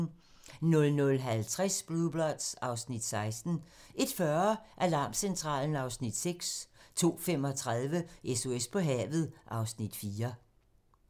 00:50: Blue Bloods (Afs. 16) 01:40: Alarmcentralen (Afs. 6) 02:35: SOS på havet (Afs. 4)